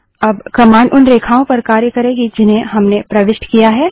अब कमांड उन रेखाओं पर कार्य करेगी जिन्हें हमने प्रविष्ट किया है